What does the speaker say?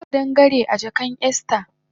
Anga kadangare a jakan Esther